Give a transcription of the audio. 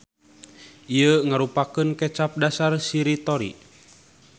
Ieu ngarupakeun kecap dasar shiritori.